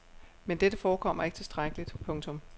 Men dette forekommer ikke tilstrækkeligt. punktum